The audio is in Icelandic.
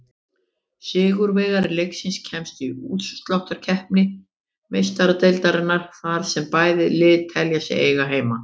Sigurvegari leiksins kemst í útsláttarkeppni Meistaradeildarinnar, þar sem bæði lið telja sig eiga heima.